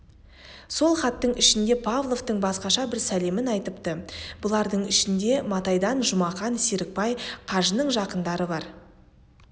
сол хаттың ішінде павловтың басқаша бір сәлемін айтыпты бұлардың ішінде матайдан жұмақан серікбай қажының жақындары бар